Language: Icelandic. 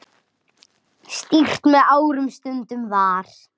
Stýrt með árum stundum var.